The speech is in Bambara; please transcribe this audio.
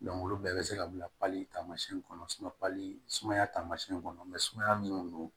olu bɛɛ bɛ se ka bila taamasiyɛn kɔnɔ sumaya taamasiyɛn kɔnɔ sumaya minnu don